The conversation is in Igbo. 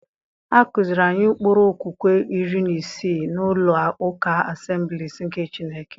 A kụziiri anyị ụkpụrụ okwukwe iri na isii n'ụlọ ụka Asemblisị nke Chineke.